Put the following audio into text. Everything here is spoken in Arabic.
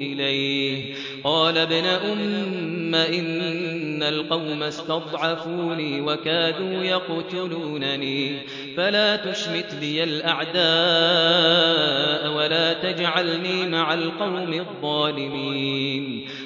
إِلَيْهِ ۚ قَالَ ابْنَ أُمَّ إِنَّ الْقَوْمَ اسْتَضْعَفُونِي وَكَادُوا يَقْتُلُونَنِي فَلَا تُشْمِتْ بِيَ الْأَعْدَاءَ وَلَا تَجْعَلْنِي مَعَ الْقَوْمِ الظَّالِمِينَ